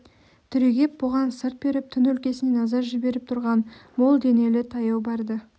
түрегеп бұған сырт беріп түн өлкесіне назар жіберіп тұрған мол денелі таяу барды